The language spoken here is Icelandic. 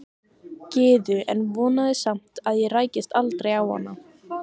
Gyðu en vonaði samt að ég rækist aldrei á hana.